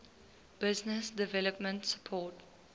business development support